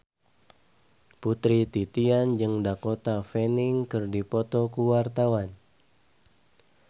Putri Titian jeung Dakota Fanning keur dipoto ku wartawan